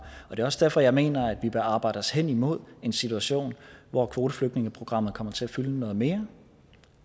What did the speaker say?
er også derfor jeg mener at vi bør arbejde os hen imod en situation hvor kvoteflygtningeprogrammet kommer til at fylde noget mere